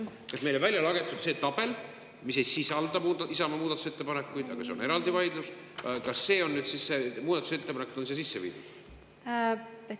Kas meile on välja see tabel, mis ei sisalda Isamaa muudatusettepanekuid – see on eraldi vaidlus –, aga kuhu on muudatusettepanekud sisse viidud?